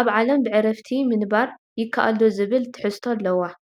ኣብ ዓለም ብዕርፍቲ ምንባር ይከኣል ዶ ዝብል ትሕዝቶ ኣልዋ